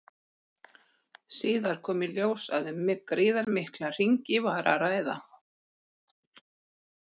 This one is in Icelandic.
Síðar kom í ljós að um gríðarmikla hringi var að ræða.